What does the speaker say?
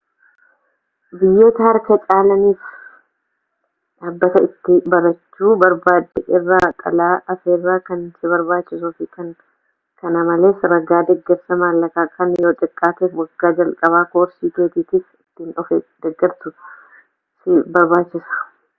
biyyoota harka caalaniif dhaabbata itti barachuu barbaadde irraa xalayaa afeerraa kan si barbaachisuu fi kana malees ragaa deeggarsa maallaqaa kan yoo xiqqaateef wagga jalqabaa koorsii keetiitiif ittiin of deeggartu si barbaachisa